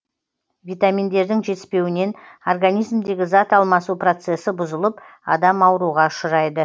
витаминдердің жетіспеуінен организмдегі зат алмасу процесі бұзылып адам ауруға ұшырайды